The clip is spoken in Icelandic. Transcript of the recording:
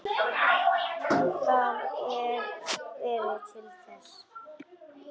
Það er veðrið til þess.